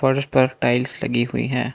फर्श पर टाइल्स लगी हुई हैं।